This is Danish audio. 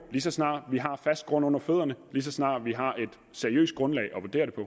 lige så snart vi har fast grund under fødderne lige så snart vi har et seriøst grundlag